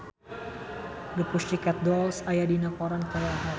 The Pussycat Dolls aya dina koran poe Ahad